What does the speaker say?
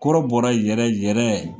Kɔrɔbɔrɔ yɛrɛ yɛrɛ